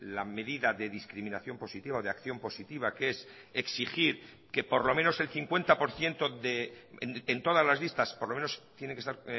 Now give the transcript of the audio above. la medida de discriminación positiva de acción positiva que es exigir que por lo menos el cincuenta por ciento en todas las listas por lo menos tiene que estar